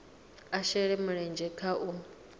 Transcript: a shele mulenzhe kha u